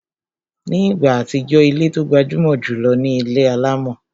Ní ìgbà àtijọ́, ilé tó gbajúmọ̀ jùlọ ni ilé alámọ̀